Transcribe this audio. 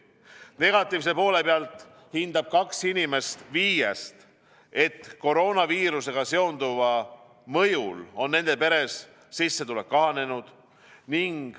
Negatiivse poole pealt hindab kaks inimest viiest, et koroonaviirusega seonduva mõjul on nende peres sissetulek kahanenud.